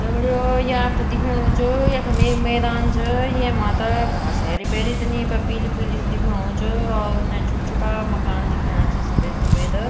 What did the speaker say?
दगड़ियों ये आपथे दिखेणु च यखम एक मैदान च येमा त घास हेरी-भेरी त नी पर पीली-पीली स दिखेणु च और उने छुट-छुटा मकान दिखेणा छी सफ़ेद-सफ़ेद।